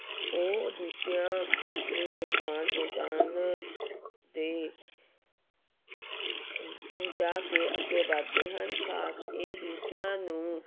ਉਹ ਦੂਜਿਆਂ ਨੂੰ ਨੁਕਸਾਨ ਪਹੁੰਚਾਉਣ ਦੇ ਪਹੁੰਚਾ ਕੇ ਅੱਗੇ ਵੱਧਦੇ ਹਨ, ਖ਼ਾਸ ਇਹ ਦੂਜਿਆਂ ਨੂੰ